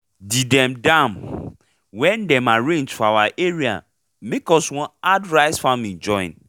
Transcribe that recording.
the dem dam wey dem arrange for our area make us one add rice faming join